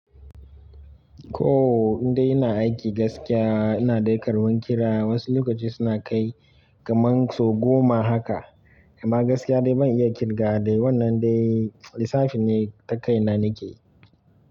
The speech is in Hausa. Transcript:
To indai ina aiki gaskiya ina dai karban kira. Wasu lokaci suna kai kaman so goma haka, amma gaskiya dai ban iya kirgawa dai. Wanna dai lissafi ne ta kaina nake.